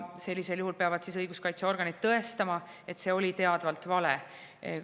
Sellisel juhul peavad õiguskaitseorganid tõestama, et see oli teadvalt vale info.